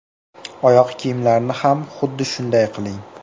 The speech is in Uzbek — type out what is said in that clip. Oyoq kiyimlarni ham xuddi shunday qiling.